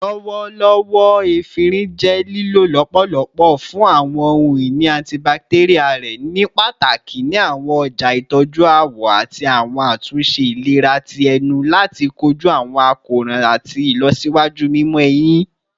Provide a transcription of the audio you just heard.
Lọwọlọwọ, efinrin jẹ lilo lọpọlọpọ fun awọn ohun-ini antibacterial rẹ, nipataki ni awọn ọja itọju awọ ati awọn atunṣe ilera ti ẹnu lati koju awọn akoran ati ilọsiwaju mimọ ehin